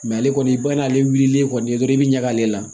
ale kɔni ba n'ale wulilen kɔni dɔrɔn i bɛ ɲag'ale la